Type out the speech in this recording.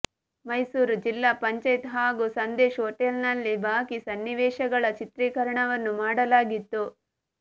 ಮೈಸೂರು ಜಿಲ್ಲಾ ಪಂಚಾಯತ್ ಹಾಗೂ ಸಂದೇಶ್ ಹೋಟೆಲ್ನಲ್ಲಿ ಬಾಕಿ ಸನ್ನಿವೇಶಗಳ ಚಿತ್ರೀಕರಣವನ್ನೂ ಮಾಡಲಾಗಿತ್ತು